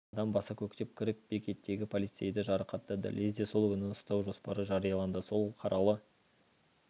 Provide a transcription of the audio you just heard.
адам баса көктеп кіріп бекеттегі полицейді жарақаттады лезде сол күні ұстау жоспары жарияланды сол қаралы